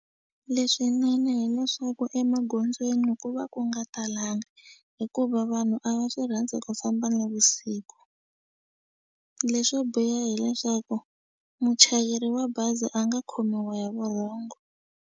Leswinene hileswaku emagondzweni ku va ku nga talanga hikuva vanhu a va swi rhandzi ku famba nivusiku leswo biha hileswaku muchayeri wa bazi a nga khomiwa hi vurhongo.